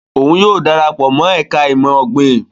Òun yóò darapọ̀ mọ ẹka imọ-ogbin